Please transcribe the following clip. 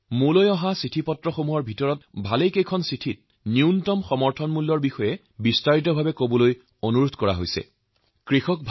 মোলৈ যি চিঠি আহিছে সেইবোৰৰ ভিতৰত মই দেখিছো বহু কৃষক বন্ধুৱে ন্যূনতম সমৰ্থিত মূল্যMSPৰ বিষয়ে লিখিছিল আৰু মই এই বিষয়ত তেওঁলোকৰ সৈতে বিস্তাৰিতভাৱে আলোচনা কৰাটো বিচাৰে